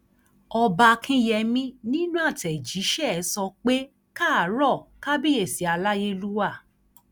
ọba akínyẹmí nínú àtẹjíṣẹ ẹ sọ pé e káàárọ kábíyèsí aláyélúwà